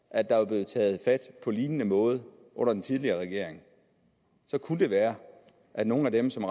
at der var blevet taget fat på lignende måde under den tidligere regering så kunne det være at nogle af dem som